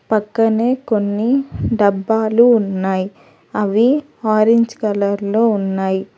పక్కనే కొన్ని డబ్బాలు ఉన్నాయి అవి ఆరెంజ్ కలర్ లో ఉన్నాయి.